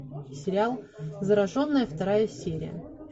сериал зараженная вторая серия